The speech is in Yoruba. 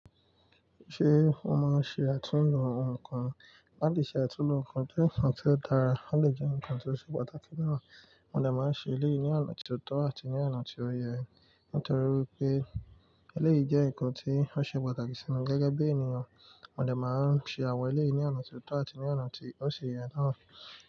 Ṣé o máa ń ṣe àtúndùn ohun kan? Láti ṣe àtúnlo ohun kan jẹ́ nǹkan tó dára, ó d jẹ́ ǹkan ti ó ṣe pàtàkì gan. Wọn de máa ń ṣe eléyìí ní ọ̀nà ti o tọ́ àti ní ọ̀nà tí ó yẹ, nítorí wipé eléyìí jẹ́ ǹkan tí ó ṣe pàtàkì sí wa gẹ́gẹ́ bí ènìyàn. Mọ dè máa ń ṣe àwọn eléyìí ní ọ̀nà ti o tọ́ àti ní ọ̀nà tí ó si yẹ na.